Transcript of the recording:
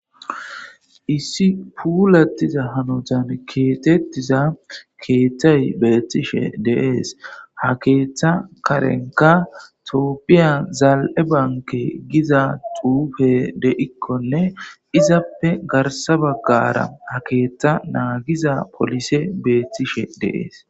issi puulattiza hanotan keetettiza keeththay beettishe deees ha keeththa karenka tpphiya zaal7e banke giza tuufe deikkonne izappe garsa baggara ha keeththa naagiza polise beettishe deees